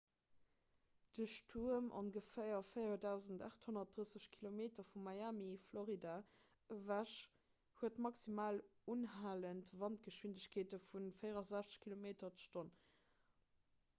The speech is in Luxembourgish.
de stuerm ongeféier 4 830 kilometer vu miami florida ewech huet maximal unhalend wandgeschwindegkeete vu 64 km/h 40 mph